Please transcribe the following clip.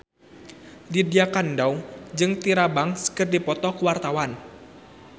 Lydia Kandou jeung Tyra Banks keur dipoto ku wartawan